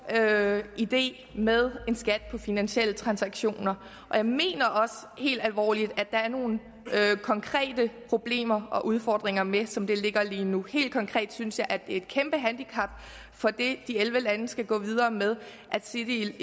idé idé med en skat på finansielle transaktioner og jeg mener også helt alvorligt at der er nogle konkrete problemer og udfordringer med det som det ligger lige nu helt konkret synes jeg at det er et kæmpe handicap for det de elleve lande skal gå videre med at city